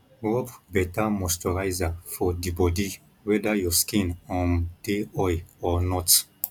rub better moisturiser for di body weda your skin um dey oil or not